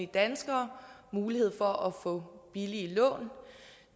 danskere mulighed for at få billige lån